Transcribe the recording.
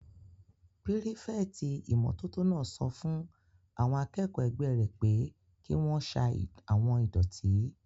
Pírífẹ̀tì ìmótótó náà sọ fún àwọn akẹ́kọ̀ọ́ ẹgbẹ́ rẹ̀ pé kí wọ́n sa àwon ìdọ̀tí